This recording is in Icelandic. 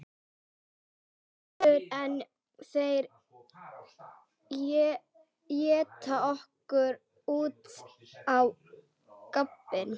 Áður en þeir éta okkur út á gaddinn.